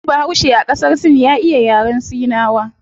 Wani bahaushe a qasar sin ya iya yaren sinawa